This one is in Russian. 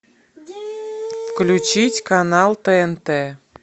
включить канал тнт